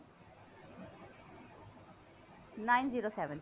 nine zero seven